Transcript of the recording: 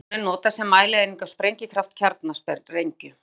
Kílótonn er notað sem mælieining á sprengikraft kjarnasprengju.